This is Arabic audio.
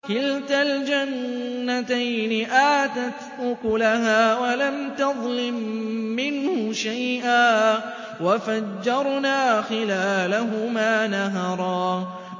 كِلْتَا الْجَنَّتَيْنِ آتَتْ أُكُلَهَا وَلَمْ تَظْلِم مِّنْهُ شَيْئًا ۚ وَفَجَّرْنَا خِلَالَهُمَا نَهَرًا